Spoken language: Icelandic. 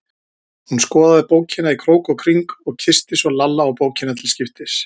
Hún skoðaði bókina í krók og kring og kyssti svo Lalla og bókina til skiptis.